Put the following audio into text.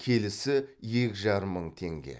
келісі екі жарым мың теңге